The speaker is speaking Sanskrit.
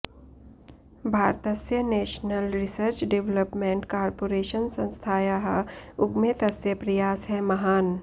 भारतस्य नेषनल् रिसर्च् डेवलप्मेण्ट् कार्पोरेषन् संस्थायाः उगमे तस्य प्रयासः महान्